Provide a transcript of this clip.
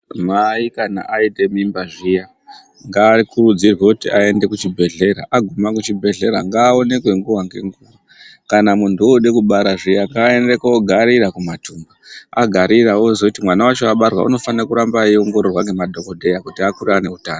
Mai kana vaite mimba zviyani ngava kurudzirwe kuti vaende kuzvibhehlera aguma kuchibhehlera ngaonekwe nguwa ngenguwa. Kana munthu ode kubara ngaende kogarira kumatumba agarira ozoti mwana wacho abarwa unofanira kugara eingororwa ngema dhokoteya kuti akure ane utano.